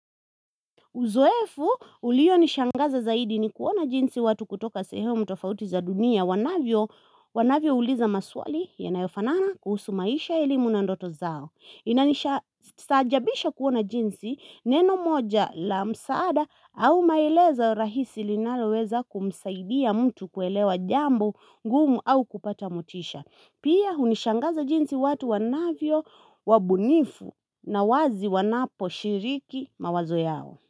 Uzoefu ulio nishangaza zaidi ni kuona jinsi watu kutoka sehemu tofauti za dunia wanavyo uliza maswali yanayofanana kuhusu maisha elimu na ndoto zao. Stajabisha kuona jinsi neno moja la msaada au maelezo rahisi linaloweza kumsaidia mtu kuelewa jambo ngumu au kupata motisha. Pia unishangaza jinsi watu wanavyo wabunifu na wazi wanapo shiriki mawazo yao.